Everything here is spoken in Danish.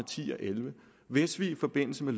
ti og elleve hvis vi i forbindelse med